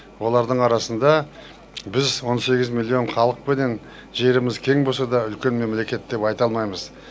олардың арасында біз он сегіз миллион халықпенен жеріміз кең болса да үлкен мемлекет деп айта алмаймыз